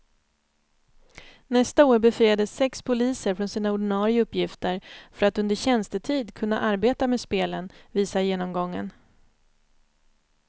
Nästa år befriades sex poliser från sina ordinarie uppgifter för att under tjänstetid kunna arbeta med spelen, visar genomgången.